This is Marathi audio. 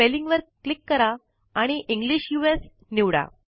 स्पेलिंग वर क्लिक करा आणि इंग्लिश यूएस निवडा